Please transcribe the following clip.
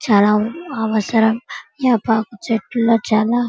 చాలా అవసరం వేపాకు చెట్లులో చాలా--